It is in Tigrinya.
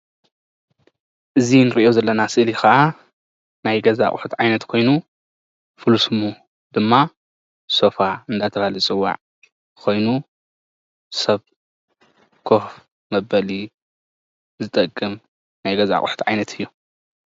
እዚ ንርእዮ ዘለና ስእሊ ከዓ ናይ ገዛ አቁሑት ዓይነት ኮይኑ ፉል ስሙ ድማ ሶፋ አናተበሃለ ዝፅዋዕ ኮይኑ ሰብ ኮፍ መበሊ ዝጠቅም ናይ ገዛ አቁሑት ዓይነት እዩ።